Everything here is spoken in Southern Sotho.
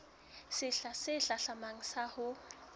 sehla se hlahlamang sa ho